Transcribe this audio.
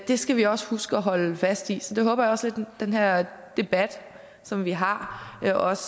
skal vi også huske at holde fast i så det håber jeg også med den her debat som vi har har også